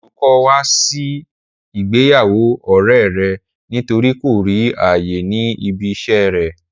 Olú kò wá sí ìgbéyàwó ọ̀rẹ́e rẹ̀ nítorí kò rí ààyè ní ibi iṣẹ́e rẹ̀.